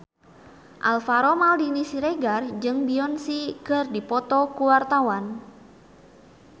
Alvaro Maldini Siregar jeung Beyonce keur dipoto ku wartawan